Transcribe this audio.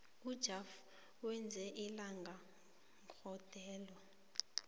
ujafter wenze ilinga gondelo